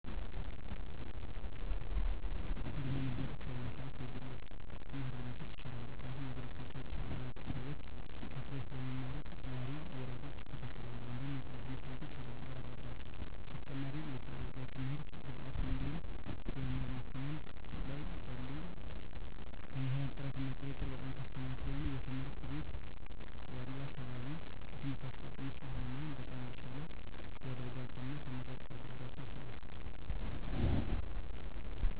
እንደ እኔ አመለካከት በአሁኑ ስዓት የግል ትምህርት ቤቶች ይሻላል ምክንያቱም የግል ትምህርት ቤት አብዛኞቹ ሰዎች ከፈለው ስለሚማሩ ተማሪ ወላጆች ይከታተላሉ እንድሁም የግል ትምህርት ቤቶች ውድድር አለባቸው በተጨማሪም ለትምህርት ግብዓቶች እንድሁም የመማር ማስተማር ላይ ያሉ መምህራን ጥራት እና ቁጥጥር በጣም ከፍተኛ ስለሆነ የትምህርት ቤት ያሉ አካባቢው ለትምህርት አሰጣጥ ምቹ ስለሚሆኑ በጣም የተሻለ ሊደርጋቸው እና ተመራጭ ሊረጋቸው ይችላል።